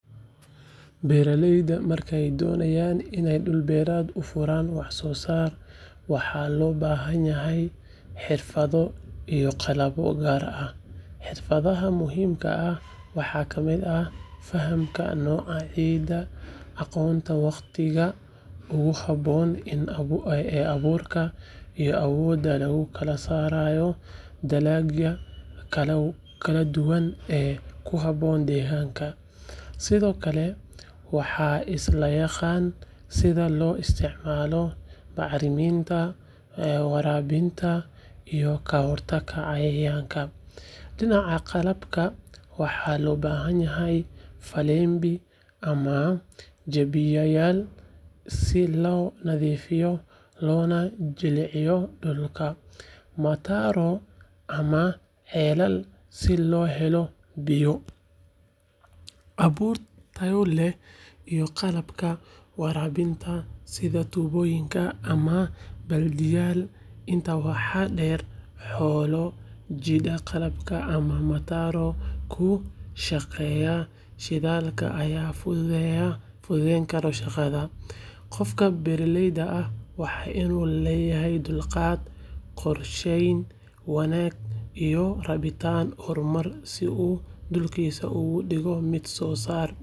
Beeraleyda markay doonayaan inay dhul beereed u furaan wax soo saar, waxaa loo baahanyahay xirfado iyo qalabyo gaar ah. Xirfadaha muhiimka ah waxaa ka mid ah fahamka nooca ciidda, aqoonta waqtiga ugu habboon ee abuurka, iyo awoodda lagu kala saaro dalagyada kala duwan ee ku habboon deegaanka. Sidoo kale, waa in la yaqaan sida loo isticmaalo bacriminta, waraabinta, iyo ka hortagga cayayaanka. Dhinaca qalabka, waxaa loo baahanyahay faleembi ama jabiyayaal si loo nadiifiyo loona jilciyo dhulka, matooro ama ceelal si loo helo biyo, abuur tayo leh, iyo qalabka waraabinta sida tuubooyin ama baaldiyaal. Intaa waxaa dheer, xoolo jiida qalabka, ama matoor ku shaqeeya shidaalka ayaa fududeyn kara shaqada. Qofka beeraleyga ah waa inuu lahaadaa dulqaad, qorsheyn wanaagsan, iyo rabitaan horumarineed si uu dhulkiisa uga dhigo mid soo saara.